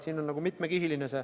See mure on mitmekihiline.